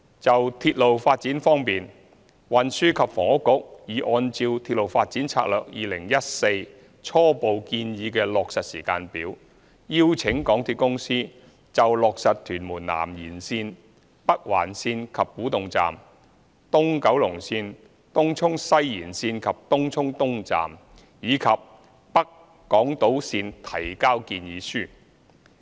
就鐵路發展方面，運輸及房屋局已按照《鐵路發展策略2014》初步建議的落實時間表，邀請港鐵公司就落實屯門南延綫、北環綫及古洞站、東九龍綫、東涌西延綫及東涌東站，以及北港島綫提交建議書。